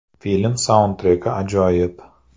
Film saundtreki ajoyib.